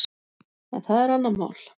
En það er annað mál.